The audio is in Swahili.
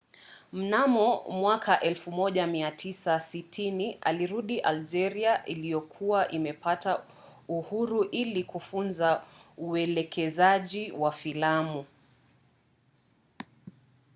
mnamo 1960 alirudi algeria iliyokuwa imepata uhuru ili kufunza uelekezaji wa filamu